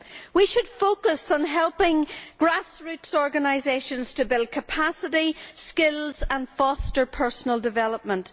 We should focus on helping grassroots organisations to build capacity and skills and foster personal development.